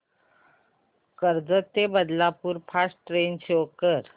कर्जत ते Badlapur fast train show कर